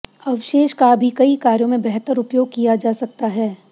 अवशेष का भी कई कार्यों में बेहतर उपयोग किया जा सकता है